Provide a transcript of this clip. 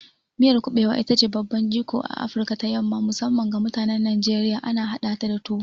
Miyar kuɓewa ita ce babban jigon a Afirka ta yamma, musamman ga mutanen Najeriya, ana hadata da tuwo.